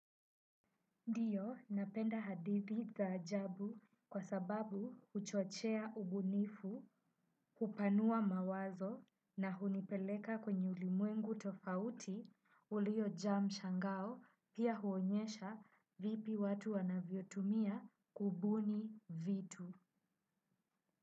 Ndiyo napenda hadithi za ajabu kwa sababu huchochea ubunifu. Hupanua mawazo na hunipeleka kwenye ulimwengu tofauti uliojaa mshangao pia huonyesha vipi watu wanavyotumia kubuni vitu.